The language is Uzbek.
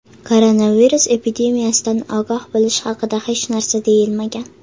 Koronavirus epidemiyasidan ogoh bo‘lish haqida hech narsa deyilmagan.